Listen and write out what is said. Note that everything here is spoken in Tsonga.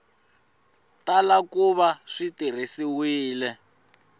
tala ku va swi tirhisiwile